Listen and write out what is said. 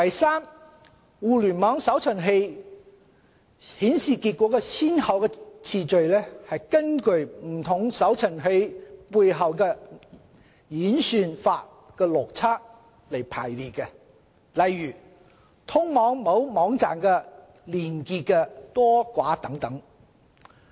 三互聯網搜尋器顯示結果的先後次序，是根據不同搜尋器背後演算法的邏輯來排列，例如通往某網站的連結多寡等。